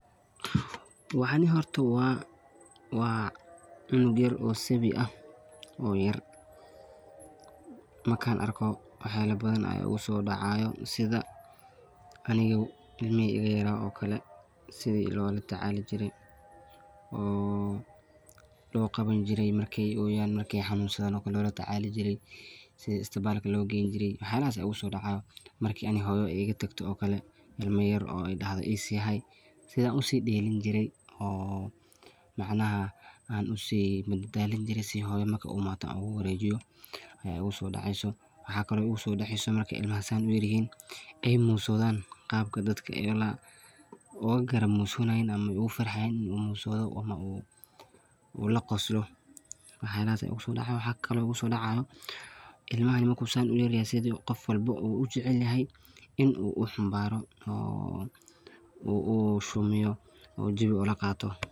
Waxan horta waa cunug yaaro oo sabi aah oo yaar. Markan arko waxa yala badhan aya igu so dacayan sidha aniga ilmihi iga yara oo kale sidhii loo latacali jire oo lo gawan jire marki oo yaan marki xanusadhan okale loo latacali jire sidhe istibalka loo gayni jire wax yalahasa igu soo daca. Marki ani hooyo iga tagto oo kale ilmii yaar aydahdo isi haay sidhi aan usideliin jire oo macnaha usi madbalin jire sidhii hooyo markay imado uga wareyjiyo aya igu soo daceyso. Waxa kalo igu so daceyso markay ilmaha saan uyarihi hiin ay moo sodhan qaabka dadka ay ula ugamrosonayin uga farxayan ula qoslo wax yalahas igu sodacayan. Wax kala igu so dacayo ilmaha marki saan sidha qoof walba oo ujeclehay in u uxambaro u shumiyo o jawiga ulaqaato.